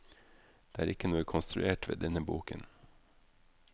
Det er ikke noe konstruert ved denne boken.